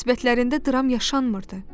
Münasibətlərində dram yaşanmırdı.